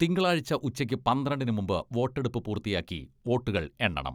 തിങ്കളാഴ്ച്ച ഉച്ചക്ക് പന്ത്രണ്ടിന് മുമ്പ് വോട്ടെടുപ്പ് പൂർത്തിയാക്കി വോട്ടുകൾ എണ്ണണം.